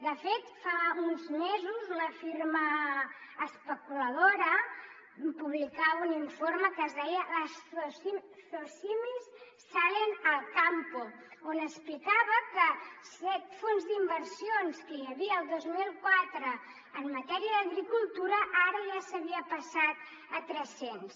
de fet fa uns mesos una firma especuladora publicava un informe que es deia las socimis salen al campo on explicava que de set fons d’inversions que hi havia el dos mil quatre en matèria d’agricultura ara ja s’havia passat a tres cents